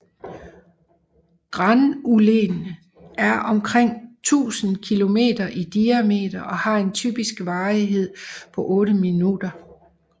Granulene er omkring 1000 km i diameter og har en typisk varighed på 8 minutter